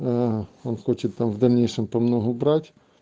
он хочет там в дальнейшем помногу брать